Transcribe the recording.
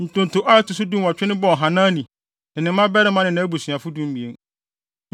Ntonto a ɛto so dunwɔtwe no bɔɔ Hanani, ne ne mmabarima ne nʼabusuafo (12)